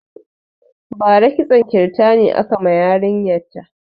Bara kitson kirtani aka ma yarin ya ta